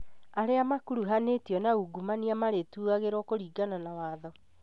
Arĩa makuruhanĩtio na ungumania marĩtuagirwo kũringana na watho